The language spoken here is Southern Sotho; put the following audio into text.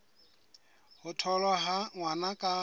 ho tholwa ha ngwana ka